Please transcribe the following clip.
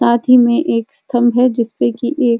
साथ ही में एक स्तंभ है जिस पर कि एक --